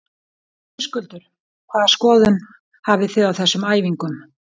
Höskuldur: Hvaða skoðun hafi þið á þessum æfingum?